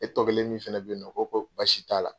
E tɔ kelen min fɛnɛ bɛ yen nɔ o ko ko baasi t'a la.